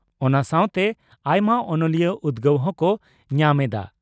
ᱚᱱᱟ ᱥᱟᱣᱛᱮ ᱟᱭᱢᱟ ᱚᱱᱚᱞᱤᱭᱟᱹ ᱩᱫᱽᱜᱟᱹᱣ ᱦᱚᱸ ᱠᱚ ᱧᱟᱢ ᱮᱫᱼᱟ ᱾